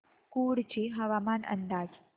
कुडची हवामान अंदाज